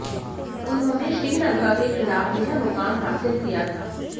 उन्होंने श्रीलंका के खिलाफ यह मुकाम हासिल किया था